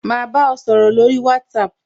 Ma ba ọ sọ̀rọ̀ lórí WhatsApp